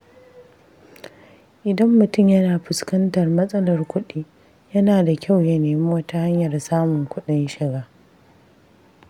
Idan mutum yana fuskantar matsalar kuɗi, yana da kyau ya nemi wata hanyar samun kuɗin shiga.